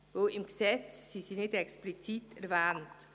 Denn im Gesetz sind sie nicht explizit erwähnt.